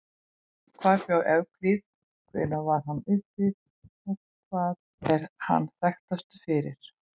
Hvar bjó Evklíð, hvenær var hann uppi og hvað er hann þekktastur fyrir?